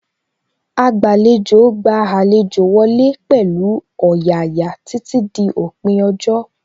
Agbàlejò gba àlejò wọlé pẹ̀lú ọ̀yàyà títí dí òpin ọjọ́